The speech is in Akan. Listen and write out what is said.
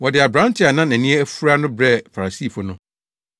Wɔde aberante a na nʼani afura no brɛɛ Farisifo no.